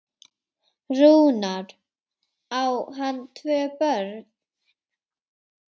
Rúnar, á hann tvö börn.